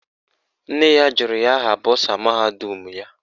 Nne ya jụrụ ya aha bọsa mahadum ya.